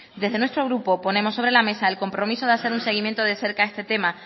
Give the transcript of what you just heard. desde nuestro grupo ponemos sobre la mesa el compromiso de hacer un seguimiento de cerca a este tema